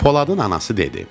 Poladın anası dedi: